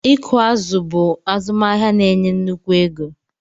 Ịkụ azụ̀ bụ azụmahịa na-enye nnukwu ego.